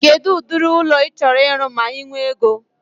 Kedụ ụdịrị ụlọ ị chọrọ ịrụ ma I nwee ego?